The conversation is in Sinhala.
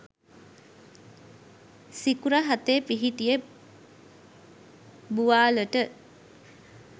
සිකුර හතේ පිහිටිය බුවාලට